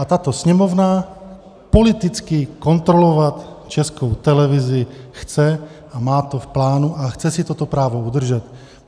A tato Sněmovna politicky kontrolovat Českou televizi chce a má to v plánu a chce si toto právo udržet.